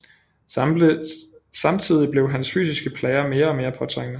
Samtidig blev hans fysiske plager mere og mere påtrængende